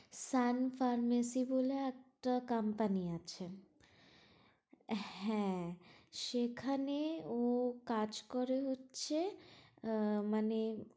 শ্যাম pharmacy বলে একটা company আছে হ্যাঁ সেখানে ও কাজ করে হচ্ছে আহ মানে